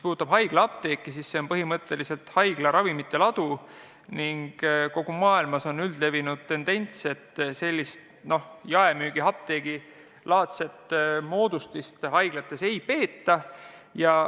Haiglaapteek on põhimõtteliselt ju haigla ravimite ladu ning kogu maailmas on üldlevinud tendents, et sellist jaemüügiapteegi-laadset moodustist haiglates ei peeta.